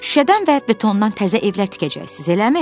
Şüşədən və betondan təzə evlər tikəcəksiniz, eləmi?